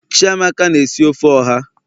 chiamaka na-esi ofe oha